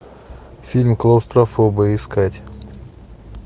фильм клаустрофобы искать